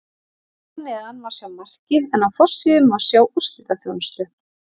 Hér að neðan má sjá markið en á forsíðu má sjá úrslitaþjónustu.